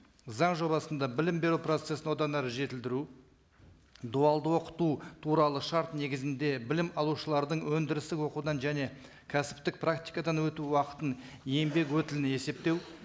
заң жобасында білім беру процессін одан әрі жетілдіру дуалды оқыту туралы шарт негізінде білім алушылардың өндірістік оқудан және кәсіптік практикадан өту уақытын еңбек өтілін есептеу